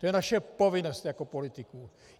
To je naše povinnost jako politiků.